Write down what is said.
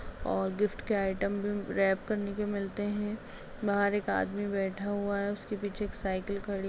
और गिफ्ट के आइटम भी रैप करने के मिलते हैं बाहर एक आदमी बैठा हुआ है उसके पीछे एक साइकिल खड़ी --